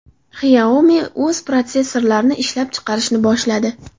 Xiaomi o‘z protsessorlarini ishlab chiqarishni boshladi.